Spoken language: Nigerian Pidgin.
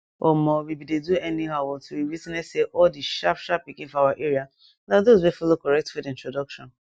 omo we bin dey do anyhow until we witness say all the sharpsharp pikin for our area na those wey follow correct food introduction